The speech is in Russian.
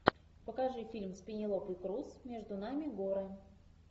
покажи фильм с пенелопой круз между нами горы